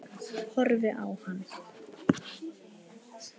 Horfi á hann.